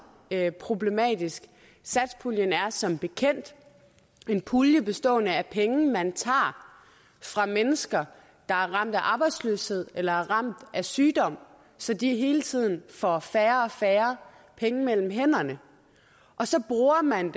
er problematisk satspuljen er som bekendt en pulje bestående af penge man tager fra mennesker der er ramt af arbejdsløshed eller er ramt af sygdom så de hele tiden får færre og færre penge mellem hænderne og så bruger man